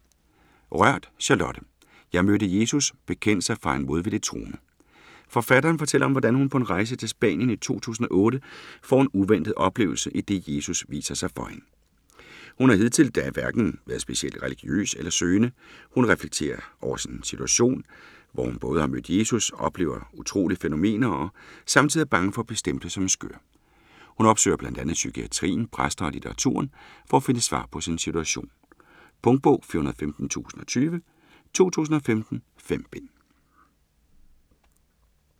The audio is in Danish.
Rørth, Charlotte: Jeg mødte Jesus: bekendelser fra en modvilligt troende Forfatteren fortæller om hvordan hun på en rejse til Spanien i 2008, får en uventet oplevelse, idet Jesus viser sig for hende. Hun har indtil da hverken været specielt religiøs eller søgende. Hun reflekterer over sin situation, hvor hun både har mødt Jesus, oplever utrolige fænomener og samtidig er bange for at blive stemplet som skør. Hun opsøger bl.a. psykiatrien, præster og litteraturen, for at finde svar på sin situation. Punktbog 415020 2015. 5 bind.